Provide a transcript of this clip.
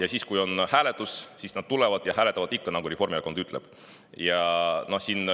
Aga siis, kui on hääletus, nad tulevad ja hääletavad ikka nii, nagu Reformierakond ütleb.